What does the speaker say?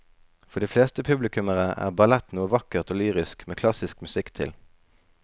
For de fleste publikummere er ballett noe vakkert og lyrisk med klassisk musikk til.